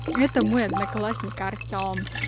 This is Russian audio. это мой одноклассник артём